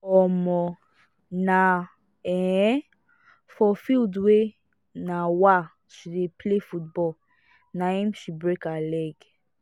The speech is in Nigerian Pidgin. um na um for field where um she dey play football na im she break her leg